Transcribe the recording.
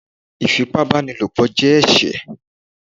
Ifípábanílopo jẹ ẹṣẹ